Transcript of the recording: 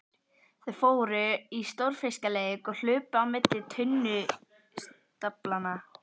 Þau fóru í stórfiskaleik og hlupu á milli tunnustaflanna.